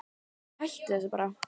Æi, hættu þessu bara.